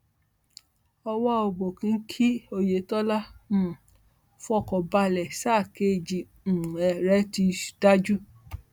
ọwà òbòkùn kí oyetola um fọkàn balẹ sáà kejì um rẹ ti dájú